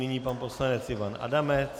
Nyní pan poslanec Ivan Adamec.